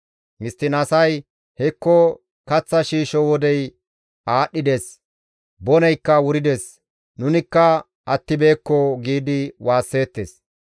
Histtiin asay, «Hekko kaththa shiishsho wodey aadhdhides; boneykka wurides; nunikka attibeekko» giidi waasseettes.